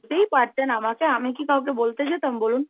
বলতেই পারতেন আমাকে, আমি কি কাউকে বলতে যেতাম বলুন?